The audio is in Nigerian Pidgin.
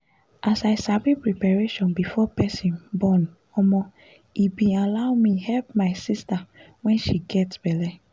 as i sabi preparation before person bornomo e bin allow me help my sister when she gets belle